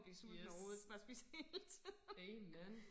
Yes amen